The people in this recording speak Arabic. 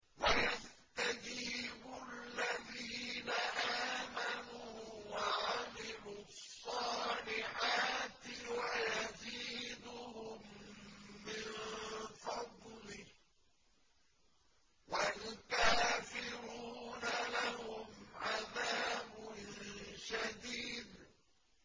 وَيَسْتَجِيبُ الَّذِينَ آمَنُوا وَعَمِلُوا الصَّالِحَاتِ وَيَزِيدُهُم مِّن فَضْلِهِ ۚ وَالْكَافِرُونَ لَهُمْ عَذَابٌ شَدِيدٌ